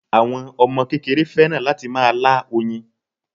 Àwọn Ọmọ kékeré fẹ́ràn láti máa lá oyin